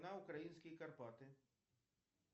на украинские карпаты